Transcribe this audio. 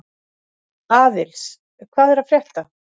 Aðils, hvað er að frétta?